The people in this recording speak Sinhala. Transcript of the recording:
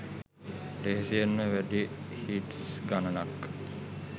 ලෙහෙසියෙන්ම වැඩි හිට්ස් ගණනක්